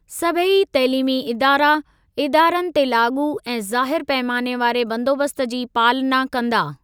सभेई तइलीमी इदारा, इदारनि ते लागू ऐं ज़ाहिरु पैमाने वारे बंदोबस्त जी पालना कंदा।